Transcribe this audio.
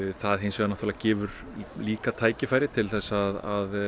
það hins vegar gefur líka tækifæri til þess að